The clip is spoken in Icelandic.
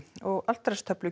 og altaristöflu